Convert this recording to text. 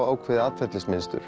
ákveðið